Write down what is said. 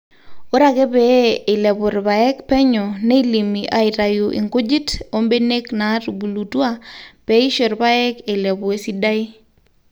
ore ake pee eilepu irpaek penyo neilimi aaitau inkunjit ombenek naatubulutua pee eisho irpaek eilepu esidai